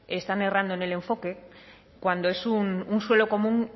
están errando en el enfoque cuando es un suelo común